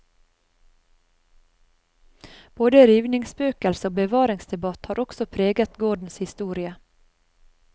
Både rivningsspøkelse og bevaringsdebatt har også preget gårdens historie.